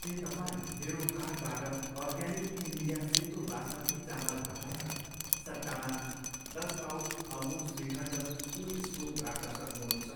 के तपाईँ मेरो कार्टबाट अर्ग्यानिक इन्डिया सेतो बासमती चामल हटाएर सट्टामा दस पाउच अमुल श्रीखण्ड कुल स्कुप राख्न सक्नुहुन्छ?